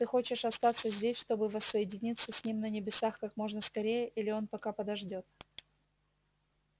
ты хочешь остаться здесь чтобы воссоединиться с ним на небесах как можно скорее или он пока подождёт